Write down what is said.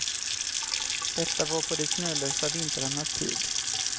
Detta var på de snölösa vintrarnas tid.